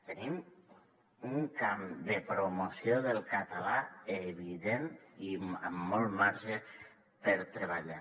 tenim un camp de promoció del català evident i amb molt marge per treballar